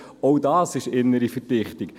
Auch dies ist innere Verdichtung.